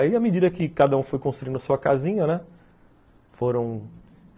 Aí, à medida que cada um foi construindo sua casinha, né? Foram...